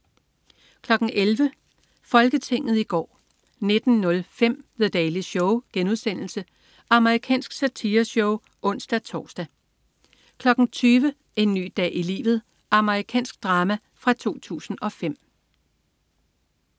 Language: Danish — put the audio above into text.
11.00 Folketinget i går 19.05 The Daily Show.* Amerikansk satireshow (ons-tors) 20.00 En ny dag i livet. Amerikansk drama fra 2005